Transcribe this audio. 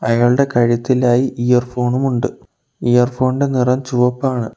അയാളുടെ കഴുത്തിലായി ഇയർ ഫോണും ഉണ്ട് ഇയർ ഫോൺ ഇന്റെ നിറം ചുവപ്പാണ്.